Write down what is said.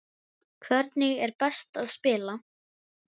Hvernig er best að spila?